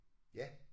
Ja